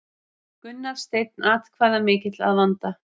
Gunnar Steinn atkvæðamikill að vanda